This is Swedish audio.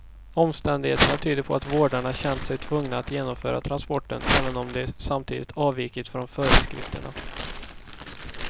Omständigheterna tyder på att vårdarna känt sig tvungna att genomföra transporten, även om de samtidigt avvikit från föreskrifterna.